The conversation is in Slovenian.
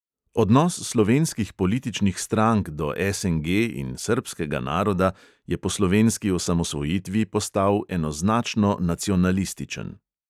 Odnos slovenskih političnih strank do SNG in srbskega naroda je po slovenski osamosvojitvi postal enoznačno nacionalističen.